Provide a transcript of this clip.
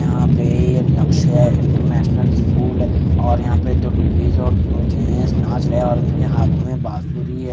यहाँ पे ये लक्ष्य इंटर नेशनल स्कूल हैं और यहाँ पे दो लेडीज और दो गेंट्स नाच रहे हैं और उनके हाथो में बाँसुरी हैं ।